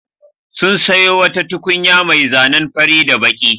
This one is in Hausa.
Sun sayo wata tukunya mai zanen fari da baƙi.